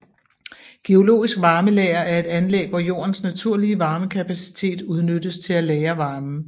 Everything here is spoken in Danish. Geologisk varmelager er et anlæg hvor jordens naturlige varmekapacitet udnyttes til at lagre varmen